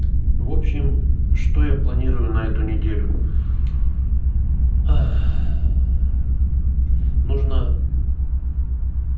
в общем что я планирую на эту неделю нужно